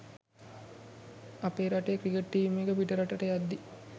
අපේ රටේ cricket team එක පිටරට යද්දී